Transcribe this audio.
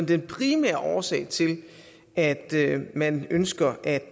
den primære årsag til at man ønsker at